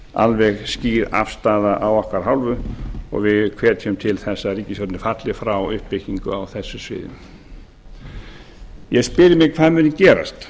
alveg skýr afstaða af okkar hálfu og við hvetjum til þess að ríkisstjórnin falli frá uppbyggingu á þessu sviði ég spyr mig hvað muni gerast